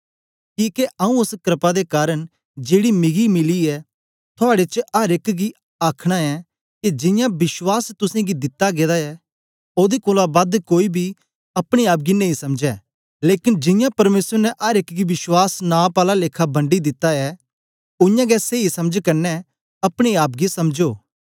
किके आऊँ ओस क्रपा दे कारन जेड़ी मिगी मिली ऐ थुआड़े च अर एक गी आ आखना ऐं के जियां विश्वास तुसेंगी दित्ता गेदा ऐ ओदे कोलां बद कोई बी अपने आप गी नेई समझै लेकन जियां परमेसर ने अर एक गी विश्वास नाप आला लेखा बंडी दिता ऐ उयांगै सेई समझ कन्ने अपने आप गी समझो